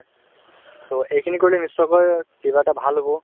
so, এইখিনি কৰিলে নিশ্চয়কৈ কিবা এটা ভাল হব